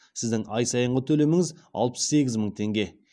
сіздің ай сайынғы төлеміңіз алпыс сегіз мың теңге